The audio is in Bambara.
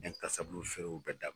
feerew bɛɛ da